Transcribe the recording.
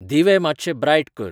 दिवे मात्शे ब्राइट कर